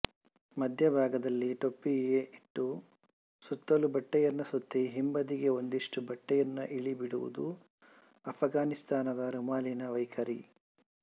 ಮಧ್ಯಭಾಗದಲ್ಲಿ ಟೊಪ್ಪಿಗೆಯಿಟ್ಟು ಸುತ್ತಲೂ ಬಟ್ಟೆಯನ್ನು ಸುತ್ತಿ ಹಿಂಬದಿಗೆ ಒಂದಿಷ್ಟು ಬಟ್ಟೆಯನ್ನು ಇಳಿಬಿಡು ವುದು ಆಫ್ಘಾನಿಸ್ತಾನದ ರುಮಾಲಿನ ವೈಖರಿ